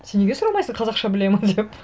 сен неге сұрамайсың қазақша біледі ме деп